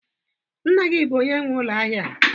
Nna gi bu onye nwe ulo ahia a?